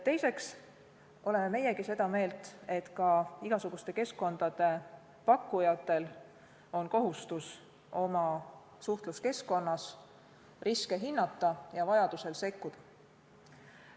Teiseks oleme meiegi seda meelt, et ka igasuguste keskkondade pakkujatel on kohustus oma suhtluskeskkonnas riske hinnata ja vajaduse korral sekkuda.